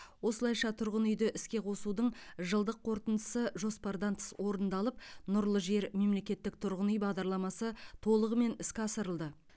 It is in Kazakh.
осылайша тұрғын үйді іске қосудың жылдық қорытындысы жоспардан тыс орындалып нұрлы жер мемлекеттік тұрғын үй бағдарламасы толығымен іске асырылды